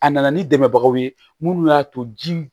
A nana ni dɛmɛbagaw ye minnu y'a to ji